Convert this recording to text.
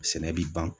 Sɛnɛ bi ban